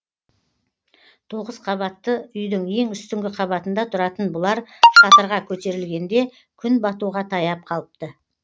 тоғыз қабатты үйдің ең үстіңгі қабатында тұратын бұлар шатырға көтерілгенде күн батуға таяп қалыпты